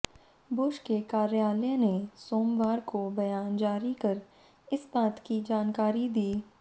Bush के कार्यालय ने सोमवार को बयान जारी कर इस बात की जानकारी दी